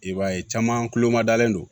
I b'a ye caman kulo ma dalen don